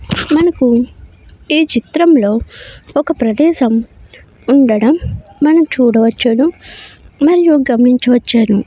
మనకు ఈ చిత్రంలో ఒక ప్రదేశం ఉండడం మనం చూడవచ్చును. మరియు గమనించవచ్చును.